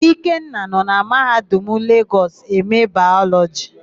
Ikenna nọ na Mahadum Legọs eme Bayọlọjị.